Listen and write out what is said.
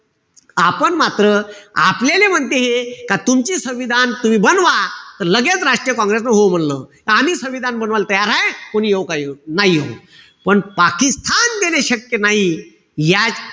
आपण मात्र आपल्याला म्हणते हे का तुमची संविधान तुम्ही बनवा. त लगेच राष्ट्रीय काँग्रेसन हो म्हणलं. का आम्ही संविधान बनवायले तयार ए. कोणी येऊ का ना येऊ. पण पाकिस्तान देणे शक्य नाई. यात फक्त या,